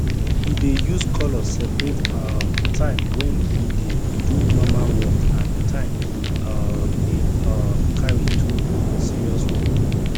he dey use colour separate um time wey he dey do normal work and time he um dey um carry do serious work